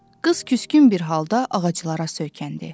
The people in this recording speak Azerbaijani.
Qız küskün bir halda ağaclara söykəndi.